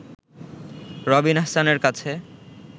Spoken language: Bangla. রবিন আহসানের কাছে